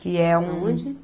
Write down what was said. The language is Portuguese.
Que é um... Aonde?